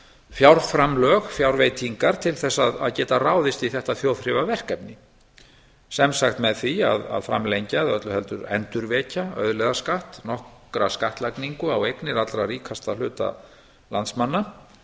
fjárframlög fjárveitingar til þess að geta ráðist í þetta þjóðþrifaverkefni sem sagt með því að framlengja eða öllu heldur endurvekja auðlegðarskatt nokkra skattlagningu á eignir allra ríkasta hluta landsmanna